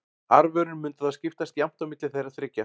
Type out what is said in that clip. Arfurinn mundi þá skiptast jafnt á milli þeirra þriggja.